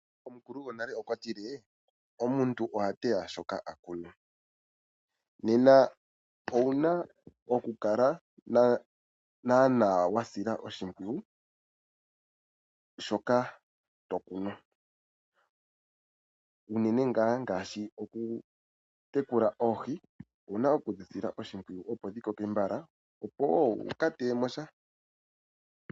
Omukulu gwonale okwa tile, omuntu oha teya shoka akuna. Nena ouna oku kala wa sila naana oshimpwiyu shoka to kunu, unene ngaa ngaashi oku yekula oohi, ouna oku dhi sila oshimpwiyu opo dhi koke mbala opo wo wu ka teye mosha.